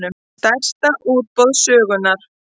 Stærsta útboð sögunnar